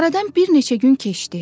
Aradan bir neçə gün keçdi.